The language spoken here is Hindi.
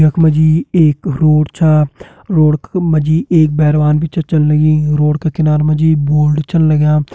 यख मा जी एक रोड छा रोड का-मा जी एक बैरवान भी छ चलन लगीं रोड का किनारा मा जी बोर्ड छन लग्यां।